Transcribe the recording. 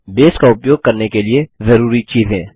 base का उपयोग करने के लिए जरूरी चीजें